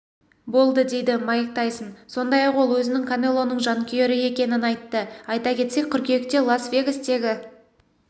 болды дейді майк тайсон сондай-ақ ол өзінің канелоның жанкүйері екенін айтты айта кетсек қыркүйекте лас-вегастегі